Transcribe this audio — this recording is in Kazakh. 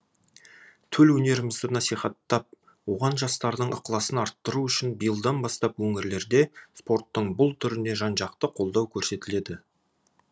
төл өнерімізді насихаттап оған жастардың ықыласын арттыру үшін биылдан бастап өңірлерде спорттың бұл түріне жан жақты қолдау көрсетіледі